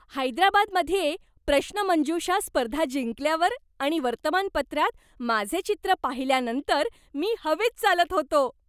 हैदराबादमध्ये प्रश्नमंजुषा स्पर्धा जिंकल्यावर आणि वर्तमानपत्रात माझे चित्र पाहिल्यानंतर मी हवेत चालत होतो.